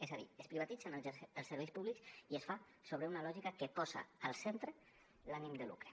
és a dir es privatitzen els serveis públics i es fa sobre una lògica que posa al centre l’ànim de lucre